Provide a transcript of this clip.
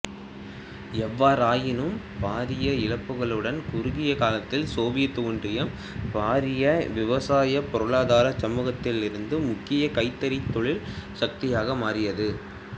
எவ்வாறாயினும் பாரிய இழப்புக்களுடன் குறுகிய காலத்தில் சோவியத் ஒன்றியம் பாரிய விவசாயப் பொருளாதாரச் சமூகத்திலிருந்து முக்கிய கைத்தொழிற் சக்தியாக மாறியது